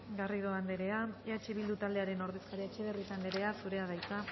garrido anderea eh bildu taldearen ordezkaria etxebarrieta anderea zurea da hitza